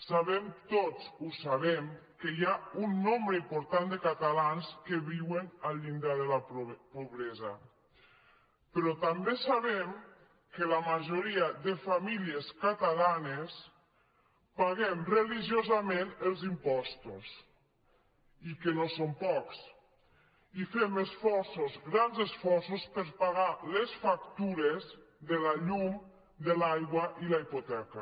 sabem tots ho sabem que hi ha un nombre important de catalans que viuen al llindar de la pobresa però també sabem que la majoria de famílies catalanes paguem religiosament els impostos i que no som pocs i fem esforços grans esforços per pagar les factures de la llum de l’aigua i la hipoteca